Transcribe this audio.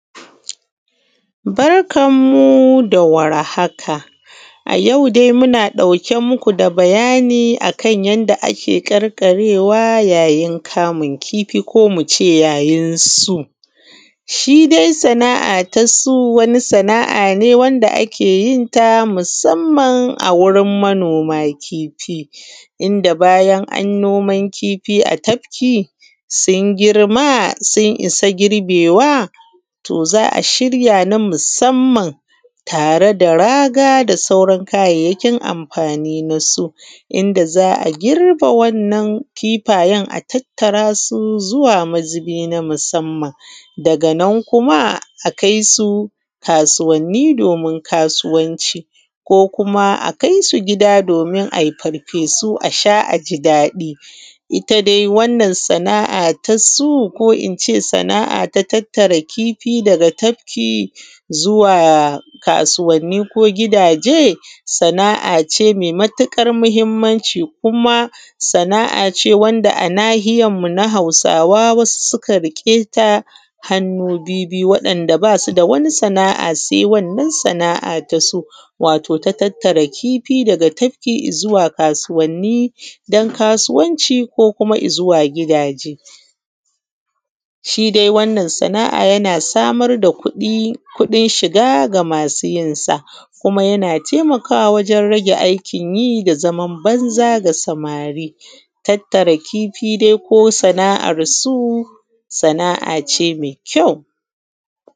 Barkan mu da warhaka a yau dai muna ɗauke muku da bayani akan yanda ake ƙarƙarewa yayin kamun kifiko muce yayin su. shidai sana’a ta su wani sana’a wanda ake yenta musamman a gurin manoma kifi. Inda bayan an noman kifi a tafki sun girma sun issa girbewa to za’a shiya na musamman tare da raga da sauran kayayyakin amfani na su, inda za’a girbe wannan kifayen a tattarasu zuwa mazubi na musamman daganan kuma a kaisu kasuwanni domin kasuwanci ko kuma a kaisu gida domin ai farfesu asha aji daɗi. itta dai wannan sana’a na su ko ince sana’a ta tattara kifi daga tafki ko ince zuwa kasuwanni ko gidaje sana’ace mai matuƙar mahimmanci kuma sana’ace wanda a nahiyan mu na hausawa wasu suka rike ta hannu bibiyu, wa ‘yan’ da basuda wata sana’a sai wannan sana’a ta su. Wato sana’a ta tattara kifi tafki izuwa kasuwanni dan kasuwanci ko kuma izuwa gidaje. Shi dai wannan sana’a yana samar da kuɗi kuɗin shiga ga masu yinsa kuma yana taimakawa wajen rage aikin yi da zaman banza ga samari tattara kifi dai ko sana’an su sana’ace mai kyau.